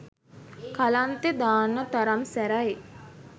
කලන්තෙ දාන්න තරම් සැරයි.